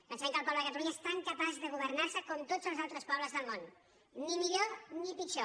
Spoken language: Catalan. pensem que el poble de catalu·nya és tan capaç de governar·se com tots els altres po·bles del món ni millor ni pitjor